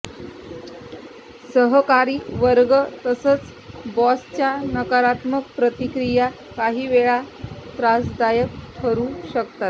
सहकारी वर्ग तसचं बॉसच्या नकारात्मक प्रतिक्रिया काहीवेळा त्रासदायक ठरू शकतात